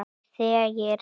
Og þegir.